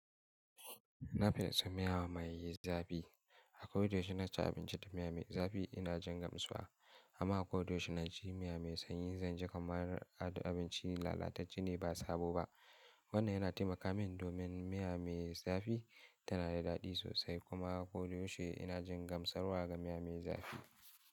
Na fin so miya mai zafi. A ko da yaushe naci abinci da miya mai zafi ina jin gamsuwa. Amma ko da yaushe naci miya mai sanyi zan ji kamar abinci lalatace ne ba sabo ba. Wannan ya na taimaka min domin miya mai zafi ta na da daɗi sosai ku ma ko da yaushe ina jin gamsarwa ga miya mai zafi.